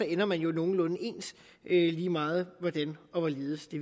ender man jo nogenlunde ens lige meget hvordan og hvorledes det